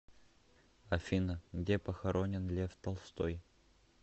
афина где похоронен лев толстой